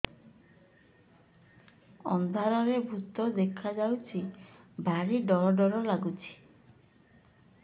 ଅନ୍ଧାରରେ ଭୂତ ଦେଖା ଯାଉଛି ଭାରି ଡର ଡର ଲଗୁଛି